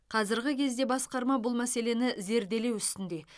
қазірғы кезде басқарма бұл мәселені зерделеу үстінде